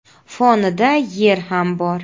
Fonida Yer ham bor.